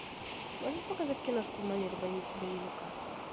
можешь показать киношку в манере боевика